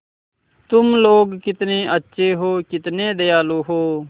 तुम लोग कितने अच्छे हो कितने दयालु हो